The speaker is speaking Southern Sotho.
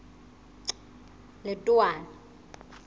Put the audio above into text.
letowana